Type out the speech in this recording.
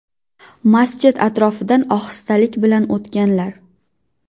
Masjid atrofidan ohistalik bilan o‘tganlar.